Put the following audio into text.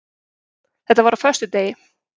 Þetta var á föstudegi.